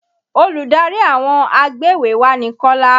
Olùdarí àwọn agbéwèéwá ni Kọ́lá.